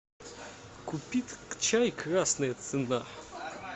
купи чай красная цена